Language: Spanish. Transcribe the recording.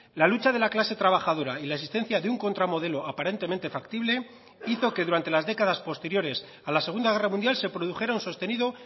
la lucha de la clase trabajadora y la existencia de un contra modelo aparentemente factible hizo que durante las décadas posteriores a la segunda guerra mundial se produjera un sostenido